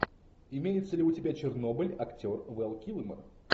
имеется ли у тебя чернобыль актер вэл килмер